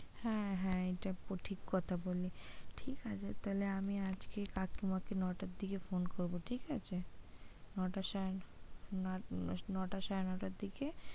হ্যাঁ হ্যাঁ এইটা ঠিক কথা বললি, ঠিক আছে তাহলে আমি আজকেই কাকিমা কে নয়টার দিকে phone করবো ঠিক আছে? নয়টার সময় নটা সাড়ে নটার দিকে,